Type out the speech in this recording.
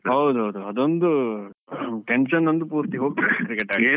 ಹೌದು ಹೌದು ಹೌದು, ಅದೊಂದು tension ಒಂದು ಪೂರ್ತಿ ಹೋಗ್ತದೆ cricket ಆಡಿದ್ರೆ.